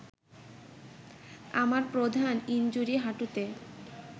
আমার প্রধান ইনজুরি হাঁটুতে